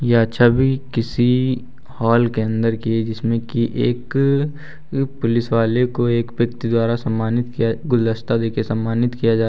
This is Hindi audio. यह छवि किसी हॉल के अंदर की है जिसमें की एक पुलिस वाले को एक व्यक्ति द्वारा सम्मानित किया गुलदस्ता देके सम्मानित किया जा रहा--